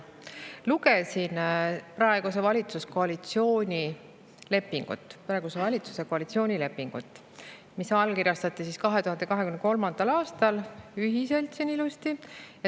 Lugesin praeguse valitsuse koalitsioonilepingut, mis allkirjastati 2023. aastal, ühiselt ilusti allkirjastati.